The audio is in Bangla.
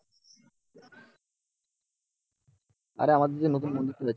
আরে আমাদের যে নতুন